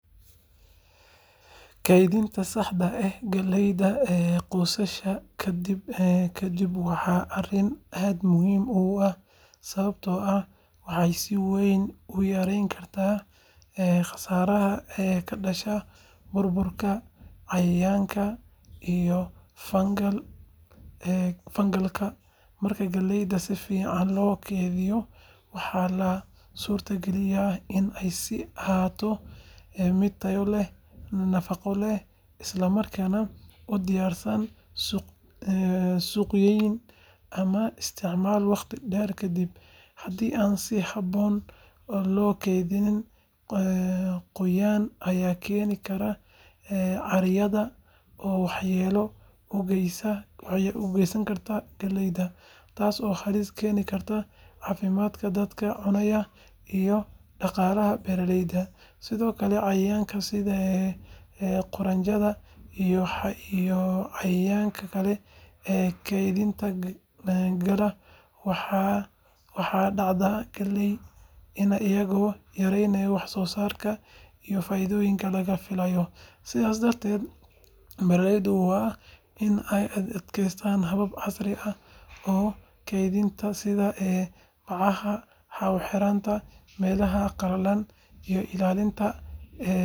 Kaydinta saxda ah ee galleyda goosashada ka dib waa arrin aad muhiim u ah sababtoo ah waxay si weyn u yareyn kartaa khasaaraha ka dhasha burburka, cayayaanka, iyo fungal-ka. Marka galleyda si fiican loo kaydiyo, waxaa la suurtagelinayaa in ay sii ahaato mid tayo leh, nafaqo leh, isla markaana u diyaarsan suuq-geyn ama isticmaal waqti dheer kadib. Haddii aan si habboon loo kaydin, qoyaan ayaa keeni kara caaryada oo waxyeello u geysan karta galleyda, taas oo halis gelin karta caafimaadka dadka cunaya iyo dhaqaalaha beeraleyda. Sidoo kale, cayayaanka sida quraanjada iyo cayayaanka kale ee kaydka galaa waxay dhaawacaan galleyda, iyagoo yareynaya wax-soo-saarka iyo faa’iidada laga filayo. Sidaas darteed, beeraleydu waa in ay adeegsadaan habab casri ah oo kaydinta sida bacaha hawo-xiran, meelaha qalalan, iyo ilaalinta heerkulka iyo huurada si looga hortago qasaaro. Tani waxay horseedi kartaa natiijooyin wanaagsan oo dhinaca dhaqaalaha iyo badbaadinta cuntada ah.